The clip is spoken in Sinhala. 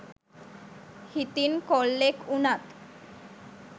හිතින් කොල්ලෙක් උනත්